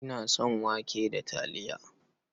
Ina son wake da taliya.